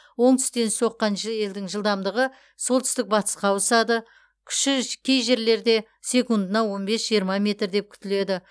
оңтүстен соққан желдің жылдамдығы солтүстік батысқа ауысады күші ж кей жерлерде секундына он бес жиырма метр деп күтіледі